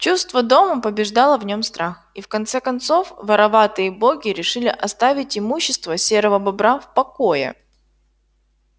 чувство дома побеждало в нём страх и в конце концов вороватые боги решили оставить имущество серого бобра в покое